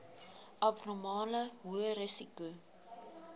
abnormale hoë risiko